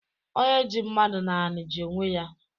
Onye ji mmadụ n’ani ji onwe ya